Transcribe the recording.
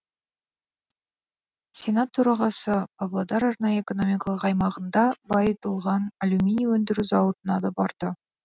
сенат төрағасы павлодар арнайы экономикалық аймағында байытылған алюминий өндіру зауытына да барды